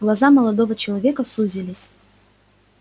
глаза молодого человека сузились